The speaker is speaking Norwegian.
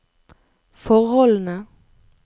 forholdene